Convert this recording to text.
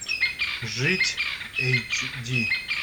жить эйч ди